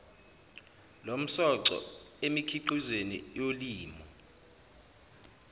lomsoco emikhiqizweni yolimo